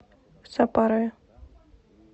сапарове